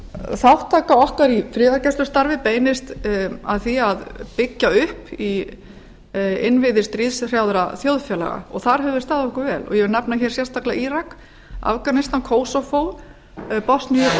þátttaka okkar í friðargæslustarfi beinist að því að byggja upp innviði stríðshrjáðra þjóðfélaga og þar höfum við staðið okkur vel ég vil nefna hérna sérstaklega írak afganistan kosovo bosníu